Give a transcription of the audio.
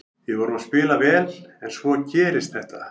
Við vorum að spila vel en svo gerist þetta.